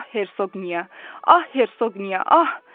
Ah, Herqniya, ah, Herqniya, ah!